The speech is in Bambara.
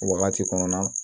O wagati kɔnɔna na